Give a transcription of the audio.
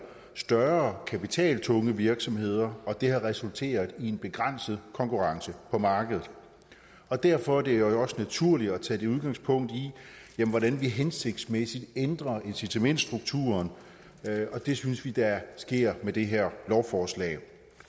større kapitaltunge virksomheder og det har resulteret i en begrænset konkurrence på markedet og derfor er det også naturligt at tage udgangspunkt i hvordan vi hensigtsmæssigt ændrer incitamentsstrukturen og det synes vi sker med det her lovforslag